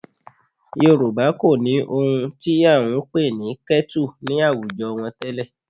Yorùbá kò ní ohun tí à ń pè ní kẹ́tù ní àwùjọ wọn tẹ́lẹ̀